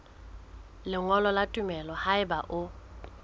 lengolo la tumello haeba o